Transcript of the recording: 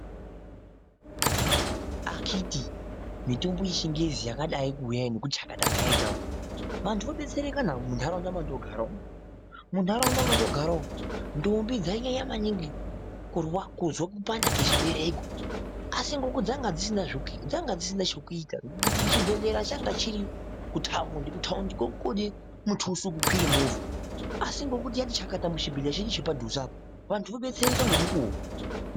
Akiti mitombo yechingezi yakadai kuuya iyi nekuti chakata kayaita vantu vodetsereka na muntaraunda mandogara. Muntaraunda mandogara umwu ntombi dzainyanya maningi kuzwa kupanda kwechibereko asi ngekuti dzanga dzisina chekuita kuti chibhedhlera changa chiri kutaundi, kutaundi kode mutusi wekukwire movha asi ngekuti yati chakata muchibhedhlera chedu chepadhuze apa vantu vodetsereka ngemukuwo.